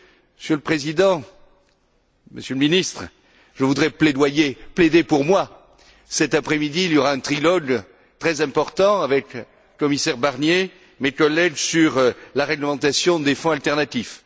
Monsieur le Président, Monsieur le Ministre, je voudrais plaider pour moi cet après midi il y aura un trilogue très important avec le commissaire Barnier et mes collègues sur la réglementation des fonds alternatifs.